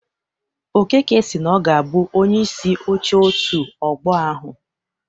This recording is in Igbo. Okeke si na ọ ga-abụ Onyeisi Oche òtù Ọgbọ ahụ.